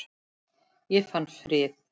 Ég fann frið.